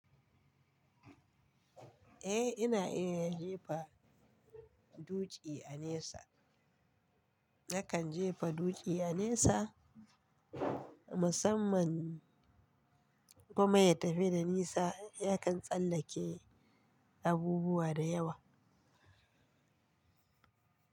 Eh, ina iya jefa dutsi a nesa. Nakan jefa dutsi a nesa musamman kuma ya tafi da nisa. Yakan tsallake abubuwa da yawa.